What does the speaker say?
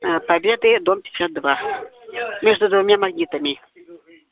аа победы дом пятьдесят два между двумя магнитами